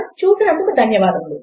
చూసినందుకు ధన్యవాదములు